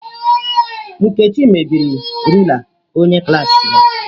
Nkechi mebiri rula onye klaasị ya.